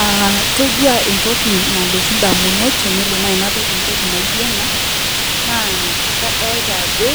Aah toduaa entoki nalotu indamunot tenelo nai nadol entoki naijo ena naa kadolita ajo